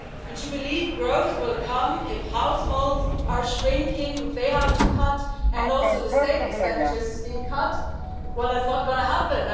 To believe growth will come if households are shrinking, if they have to be cut and also the state expenditure is being cut well, that is not going to happen.